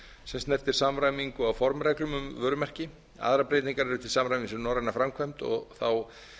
sem snertir samræmingu á formreglum um vörumerki aðrar breytingar eru til samræmi við norræna framkvæmd og þá